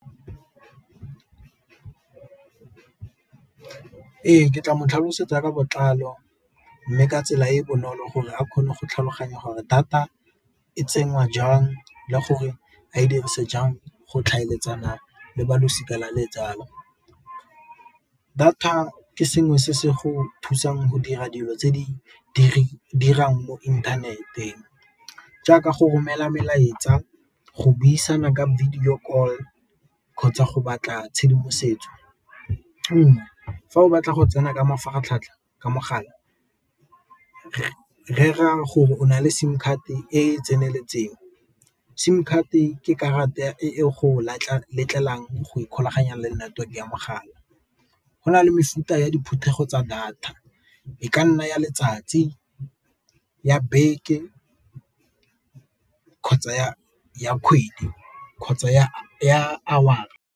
Ee, ke tla mo tlhalosetsa ka botlalo mme ka tsela e e bonolo gore a kgone go tlhaloganya gore data e tsenngwa jang le gore a e dirise jang go tlhaeletsana le balosika la . Data ke sengwe se se go thusang go dira dilo tse di dirang mo inthaneteng jaaka go romela melaetsa, go buisana ka video call kgotsa go batla tshedimosetso. fa o batla go tsena ka mafaratlhatlha ka mogala rera gore o na le sim card-te e e tseneletseng, sim card-te e ke karata e go ikgolaganya le network ya mogala, go na le mefuta ya diphuthego tsa data e ka nna ya letsatsi, ya beke, kgotsa ya kgwedi, kgotsa ya .